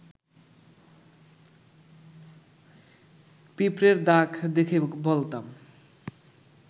পিঁপড়ের দাগ দেখে বলতাম